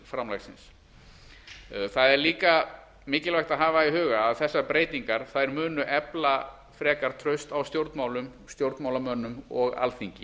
framlagsins það er auka mikilvægt að hafa í huga að þessar breytingar munu efla frekar traust á stjórnmálum stjórnmálamönnum og alþingi